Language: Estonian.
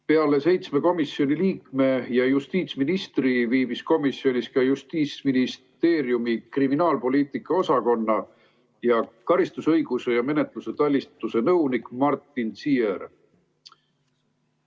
Peale seitsme komisjoni liikme ja justiitsministri viibis komisjonis ka Justiitsministeeriumi kriminaalpoliitika osakonna karistusõiguse ja menetluse talituse nõunik Martin Ziehr.